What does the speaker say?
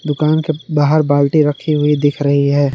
दुकान के बाहर बाल्टी रखी हुई दिख रही है।